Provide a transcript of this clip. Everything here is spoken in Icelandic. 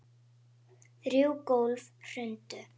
Þrjú gólf hrundu.